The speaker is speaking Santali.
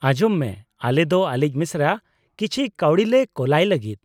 -ᱟᱸᱡᱚᱢ ᱢᱮ, ᱟᱞᱮ ᱫᱚ ᱟᱞᱮᱭᱤᱡ ᱢᱮᱥᱨᱟ ᱠᱤᱪᱷᱤ ᱠᱟᱣᱰᱤᱞᱮ ᱠᱳᱞᱟᱭ ᱞᱟᱹᱜᱤᱫ ᱾